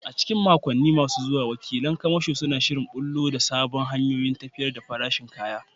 A cikin makonni masu zuwa, wakilan kamasho suna shirin ɓullo da sabbin hanyoyin tafiyar da farashin kaya.